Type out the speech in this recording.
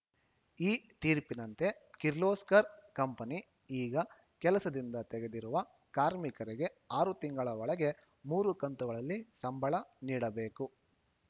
ಈ ತೀರ್ಪಿನಂತೆ ಕಿರ್ಲೋಸ್ಕರ್‌ ಕಂಪನಿ ಈಗ ಕೆಲಸದಿಂದ ತೆಗೆದಿರುವ ಕಾರ್ಮಿಕರಿಗೆ ಆರು ತಿಂಗಳ ಒಳಗೆ ಮೂರು ಕಂತುಗಳಲ್ಲಿ ಸಂಬಳ ನೀಡಬೇಕು